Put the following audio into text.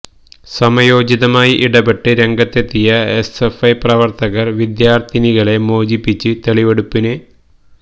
സമയോചിതമായി ഇടപെട്ട് രംഗത്തെത്തിയ S F I പ്രവർത്തകർ വിദ്യാർത്ഥിനികളെ മോചിപ്പിച്ച് തെളിവെടുപ്പിന്